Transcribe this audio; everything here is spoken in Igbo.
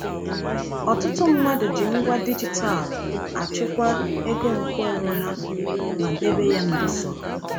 Ọtụtụ mmadụ ji ngwa dijitalụ achịkwa ego nkeonwe ha ma debe ya n’usoro.